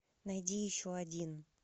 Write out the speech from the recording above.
найди еще один